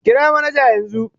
Kira manaja yanzu